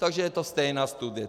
Takže je to stejná studie.